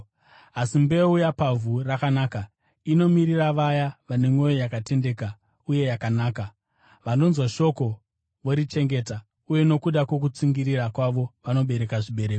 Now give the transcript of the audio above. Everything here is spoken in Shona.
Asi mbeu yapavhu rakanaka inomirira vaya vane mwoyo yakatendeka uye yakanaka, vanonzwa shoko, vorichengeta, uye nokuda kwokutsungirira kwavo vanobereka zvibereko.